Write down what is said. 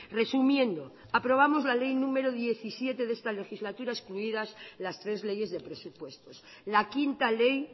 resumiendo aprobamos la ley número diecisiete de esta legislatura excluidas las tres leyes de presupuestos la quinta ley